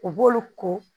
U b'olu ko